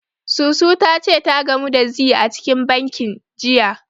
Susu ta ce ta gamu da Zee a cikin bankin, jiya.